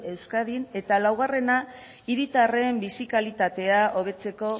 euskadin eta laugarrena hiritarren bizi kalitatean hobetzeko